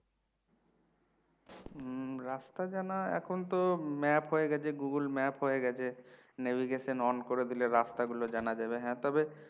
হম রাস্তা জানা এখন তো map হয়ে গেছে google map হয়ে গেছে navigation on করে দিলে রাস্তা গুলো জানা যাবে হ্যাঁ তবে